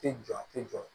Tɛ jɔ a tɛ jɔ